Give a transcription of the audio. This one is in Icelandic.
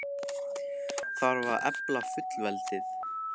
Þarf að efla fullveldið?